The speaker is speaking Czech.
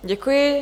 Děkuji.